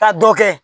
Ka dɔ kɛ